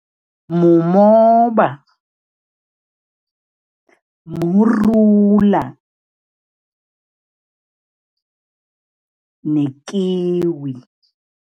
Mumoba, murula nekiwi.